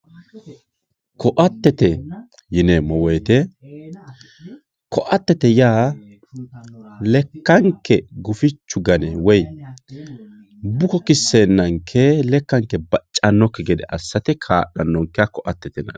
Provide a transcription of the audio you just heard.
koattetet yineemmo wote koattete yaa lekkanke gufichu gane woyi buko kisseennanke lekkanke baccannonkeki gede assate kaa'lannonkeha koatete yinanni.